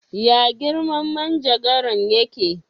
Ya girman manjagaran ya ke?